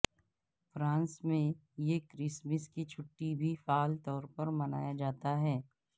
France میں یہ Christmas کی چھٹی بھی فعال طور پر منایا جاتا ہے